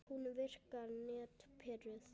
Hún virkar nett pirruð.